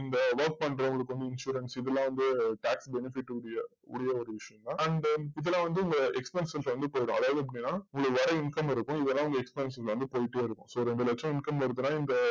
work பண்றவங்களுக்கு வந்து insurance இதுலா வந்து tax benefit உரிய உரிய ஒரு விஷயம் தான் and then இதுல வந்து இந்த expenses வந்து போய்டும் அதாவது எப்டின்ன உங்களுக்கு வர income இருக்கும் இதுல உங்க expense வந்து போய்ட்டே இருக்கும் so ரெண்டு லட்சம் income வருதுன்னா இந்த